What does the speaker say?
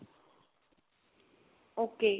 ok .